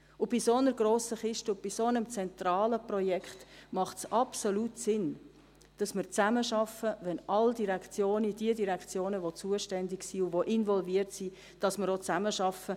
Bei einer derart grossen Kiste und bei einem solch zentralen Projekt macht es absolut Sinn, dass wir zusammenarbeiten, dass alle Direktionen, die zuständig und involviert sind, auch zusammenarbeiten.